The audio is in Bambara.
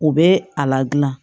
U bɛ a la gilan